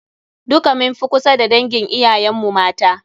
Duka mun fi kusa da dangin iyayen mu mata.